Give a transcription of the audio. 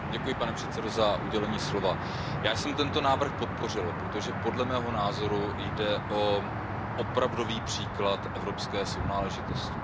Pane předsedající, já jsem tento návrh podpořil, protože podle mého názoru jde o opravdový příklad evropské sounáležitosti.